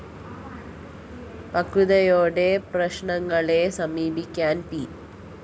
പക്വതയോടെ പ്രശ്‌നങ്ങളെ സമീപിക്കാന്‍ പി